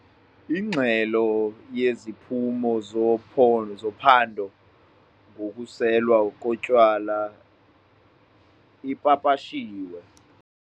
Ingxelo yeziphumo zophando ngokuselwa kotywala ipapashiwe.